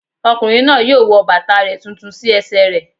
Ọkùnrin náà yóò wọ bàtà rẹ̀ tuntun sí ẹsẹ̀ rẹ̀